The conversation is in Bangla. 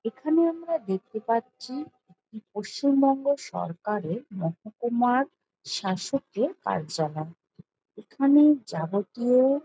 এখানে আমরা দেখতে পাচ্ছি পশ্চিম বঙ্গ সরকারের মহকুমার শাসকের কার্যালয় এখানে যাবতীয়--